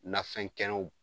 Nafɛn kɛnɛw